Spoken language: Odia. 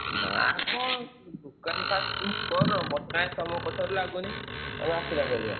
ନାଁ କଣ ଦୋକାନ first ଉଁ କର ମତେ କାଇଁ ତମ କଥାରୁ ଲାଗୁନି ତମେ ଆସିଲା ଭଳିଆ।